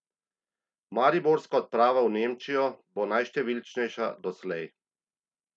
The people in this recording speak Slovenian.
Mariborska odprava v Nemčijo bo najštevilčnejša doslej.